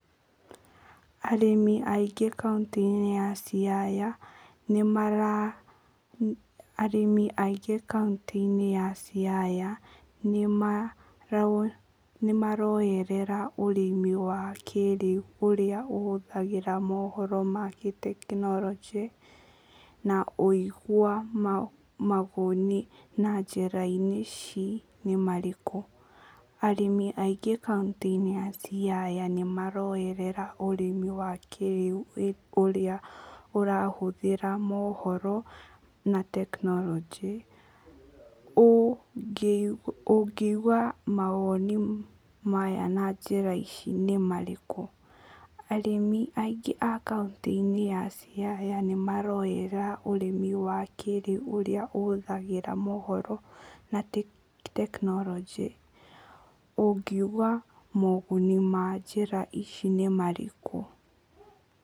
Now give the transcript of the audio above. Arĩmĩ aingĩ kauntĩ-inĩ ya Siaya nĩ mara, arĩmĩ aingĩ kauntĩ-inĩ ya Siaya nĩ maroyerera ũrĩmi wa kĩĩrĩu ũrĩa ũhũthagĩra mohoro na gĩtekinoronjĩ na ũigua mawoni na njĩra-inĩ ici nĩ marĩkũ? ũngiuga moguni ma njĩra ici nĩ marĩkũ? Arĩmĩ aingĩ kauntĩ-inĩ ya Siaya nĩ maroyerera ũrĩmi wa kĩĩrĩu ũrĩa ũrahũthĩra mohoro na tekinoronjĩ, ũngiuga mawoni maya na njĩra ici nĩ marĩkũ? Arĩmĩ aingĩ a kauntĩ-inĩ ya Siaya nĩ maroyerera ũrĩmi wa kĩĩrĩu ũrĩa ũhũthagĩra mohoro na tekinoronjĩ, ũngiuga moguni ma njĩra ici nĩ marĩkũ?